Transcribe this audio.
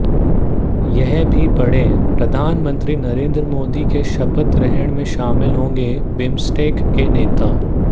यह भी पढ़ेंः प्रधानमंत्री नरेंद्र मोदी के शपथ ग्रहण में शामिल होंगे बिम्सटेक के नेता